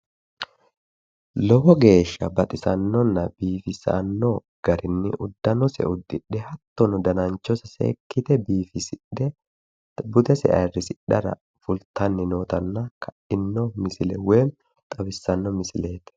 Lowo geeshasha baxisannonna biifisano garinni uddanose uddidhe hattono dananchose seekite biifisidhe budese ayrsidhara fultara nootala xawissano misileet